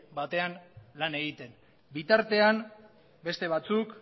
lan egiten bitartean beste batzuk